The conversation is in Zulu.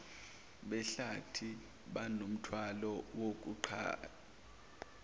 behlathi banomthwalo wokuqapha